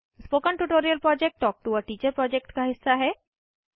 spoken tutorial project talk to a teacher project का हिस्सा है